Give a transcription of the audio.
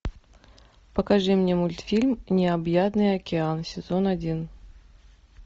покажи мне мультфильм необъятный океан сезон один